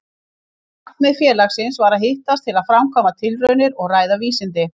Markmið félagsins var að hittast til að framkvæma tilraunir og ræða vísindi.